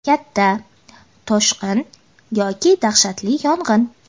Katta toshqin yoki dahshatli yong‘in.